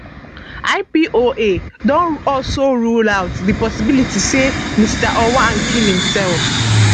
ipoa don also rule out di possibility say mr ojwang kill himself